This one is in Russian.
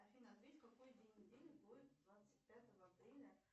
афина ответь какой день недели будет двадцать пятого апреля